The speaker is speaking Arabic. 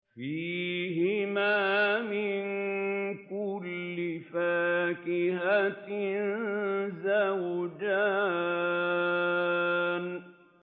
فِيهِمَا مِن كُلِّ فَاكِهَةٍ زَوْجَانِ